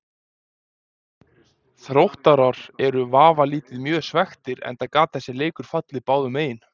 Þróttarar eru vafalítið mjög svekktir enda gat þessi leikur fallið báðum megin.